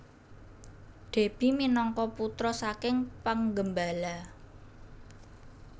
Déby minangka putra saking penggembala